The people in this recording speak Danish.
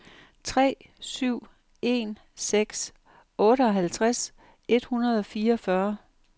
tre syv en seks otteoghalvtreds et hundrede og fireogfyrre